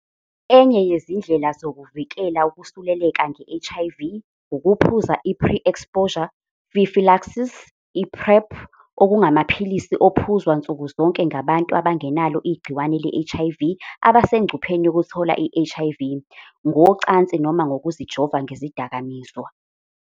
Enye yezindlela zokuvikela ukusuleleka nge-HIV ukuphuza i-Pre-Exposure Prophylaxis, i-PrEP, okungamaphilisi aphuzwa nsukuzonke ngabantu abangenalo igciwane le-HIV abasengcupheni yokuthola i-HIV, ngocansi noma ngokuzijova ngezidakamizwa.